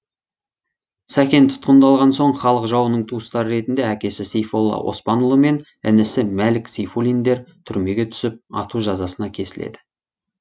сәкен тұтқындалған соң халық жауының туыстары ретінде әкесі сейфолла оспанұлы мен інісі мәлік сейфуллиндер түрмеге түсіп ату жазасына кесіледі